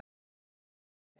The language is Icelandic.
Mig grunar að svo sé.